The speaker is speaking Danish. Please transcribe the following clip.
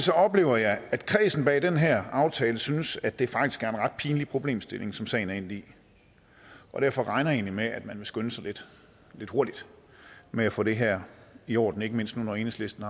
oplever jeg at kredsen bag den her aftale synes at det faktisk er en ret pinlig problemstilling som sagen er endt i og derfor regner jeg egentlig med at man vil skynde sig lidt med at få det her i orden ikke mindst nu hvor enhedslisten